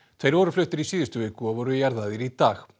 tveir voru fluttir í síðustu viku og voru jarðaðir í dag